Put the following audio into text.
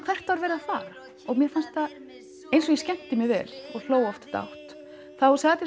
hvert var verið að fara mér fannst það eins og ég skemmti mér vel og hló oft dátt þá sat ég